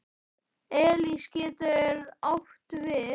Elís getur átt við